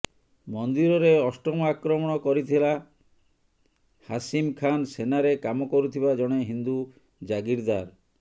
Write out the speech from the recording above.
ମନ୍ଦିରରେ ଅଷ୍ଟମ ଆକ୍ରମଣ କରିଥିଲା ହାସିମ୍ ଖାନ ସେନାରେ କାମ କରୁଥିବା ଜଣେ ହିନ୍ଦୁ ଜାଗିରଦାର୍